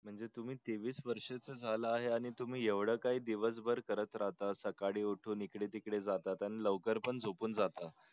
म्हणजे तुम्ही तेवीस वर्षा चे झाला हे आणि तुम्ही दिवस भर येवढ काही करत राहता सकाळी उठून इकडे तिकडे जातात आणि लवकर पण झोपून जातात